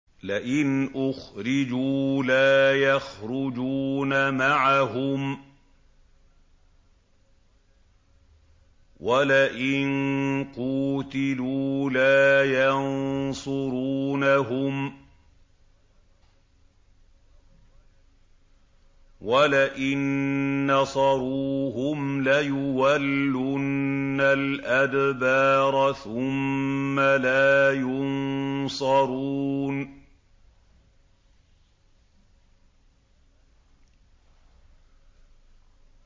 لَئِنْ أُخْرِجُوا لَا يَخْرُجُونَ مَعَهُمْ وَلَئِن قُوتِلُوا لَا يَنصُرُونَهُمْ وَلَئِن نَّصَرُوهُمْ لَيُوَلُّنَّ الْأَدْبَارَ ثُمَّ لَا يُنصَرُونَ